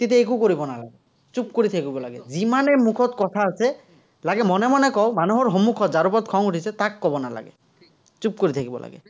তেতিয়া একো কৰিব নালাগে, চুপ কৰি থাকিব লাগে। যিমানে মুখত কথা আছে, লাগে মনে মনে কওক, মানুহৰ সন্মূখত, যাৰ ওপৰত খং উঠিছে তাক ক'ব নালাগে। চুপ কৰি থাকিব লাগে।